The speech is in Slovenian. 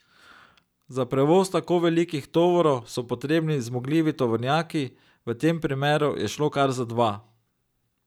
Za prevoz tako velikih tovorov so potrebni zmogljivi tovornjaki, v tem primeru je šlo kar za dva.